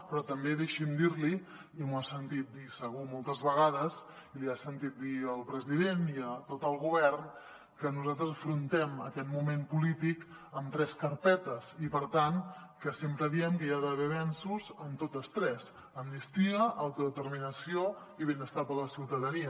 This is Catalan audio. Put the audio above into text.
però també deixi’m dir li i m’ho ha sentit dir segur moltes vegades i li ha sentit dir al president i a tot el govern que nosaltres afrontem aquest moment polític amb tres carpetes i sempre diem que hi ha d’haver avenços en totes tres amnistia autodeterminació i benestar per a la ciutadania